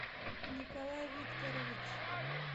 николай викторович